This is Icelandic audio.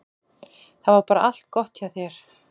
Það var bara allt gott hjá þér.